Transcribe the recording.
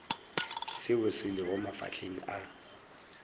seo se lego mafahleng a